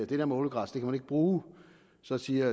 det der med ålegræs kan man ikke bruge så siger